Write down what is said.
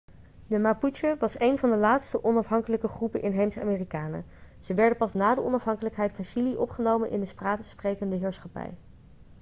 de mapuche was een van de laatste onafhankelijke groepen inheemse amerikanen ze werden pas na de onafhankelijkheid van chili opgenomen in de spaanssprekende heerschappij